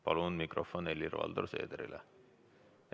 Palun mikrofon Helir-Valdor Seederile!